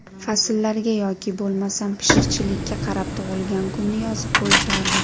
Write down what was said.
Fasllarga yoki bo‘lmasam pishiqchilikka qarab tug‘ilgan kunini yozib qo‘yishardi.